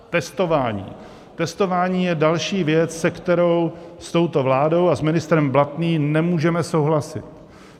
Testování: testování je další věc, se kterou s touto vládou a s ministrem Blatným nemůžeme souhlasit.